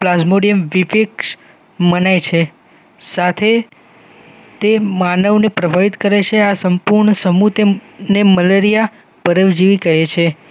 Plasmodium vivax મનાય છે સાથે તે માનવ ને પ્રભાવિત કરે છે આ સંપૂર્ણ સમૂહ તેમ ને મલેરિયા પરવજીવી કહે છે